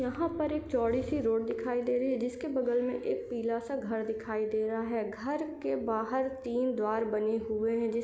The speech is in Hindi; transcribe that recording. यहाँ पर एक चौड़ी सी रोड दिखाई दे रही है जिसके बगल मे एक पीला सा घर दिखाई दे रहा है घर के बाहर तीन द्वार बने हुए है जिस--